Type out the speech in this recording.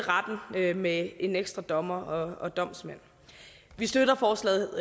retten med med en ekstra dommer og og domsmænd vi støtter forslaget